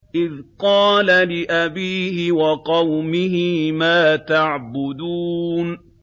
إِذْ قَالَ لِأَبِيهِ وَقَوْمِهِ مَا تَعْبُدُونَ